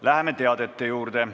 Läheme teadete juurde.